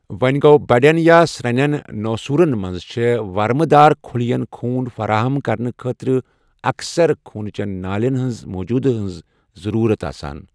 وۄنۍ گوٚو، بڑٮ۪ن یا سرٛنٮ۪ن نوسوٗرن منٛز چھےٚ ورمہٕ دار خٕلین خوٗن فَراہم کرنہٕ خٲطرٕ اکثر خوٗنہ چٮ۪ن نالٮ۪ن ہٕنٛزِ موجوٗدگی ہِنٛز ضٔروٗرت آسان۔